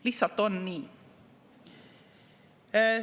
Lihtsalt on nii.